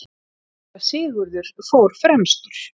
Síra Sigurður fór fremstur.